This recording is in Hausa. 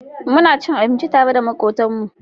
Muna cin abinci tare da makotan mu